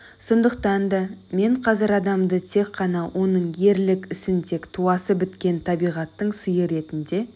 сондықтан да мен қазір адамды тек қана оның ерлік ісін тек туасы біткен табиғаттың сыйы ретінде